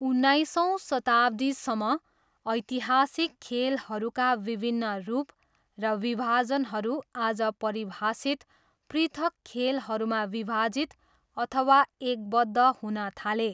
उन्नाइसौँ शताब्दीसम्म, ऐतिहासिक खेलहरूका विभिन्न रूप र विभाजनहरू आज परिभाषित पृथक् खेलहरूमा विभाजित अथवा एकबद्ध हुन थाले।